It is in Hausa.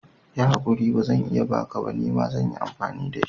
Yi haƙuri, bazan iya baka ba, nima zan yi amfani da shi.